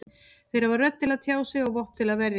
Þeir hafa rödd til að tjá sig og vopn til að verjast.